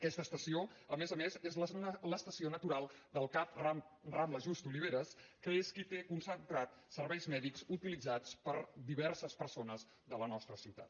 aquesta estació a més a més és l’estació natural del cap rambla just oliveras que és qui té concentrats serveis mèdics utilitzats per diverses persones de la nostra ciutat